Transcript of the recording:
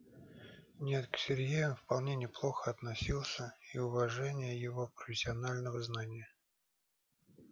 нет к сергею он вполне неплохо относился и уважение его профессионального знания